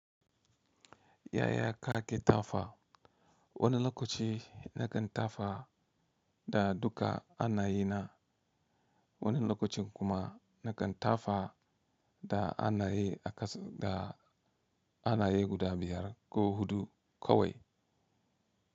Yaya kake tafa wani lokaci na kan tafa da duka hannaye na, wani lokacin kuma na kan tafa da hannaye a ƙasa anayi guda biyar ko huɗu kawai.